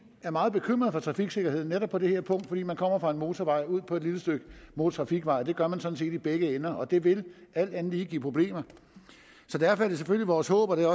er meget bekymrede for trafiksikkerheden netop på det her punkt fordi man kommer fra en motorvej ud på et lille stykke motortrafikvej det gør man sådan set i begge ender og det vil alt andet lige give problemer derfor er det selvfølgelig vores håb og det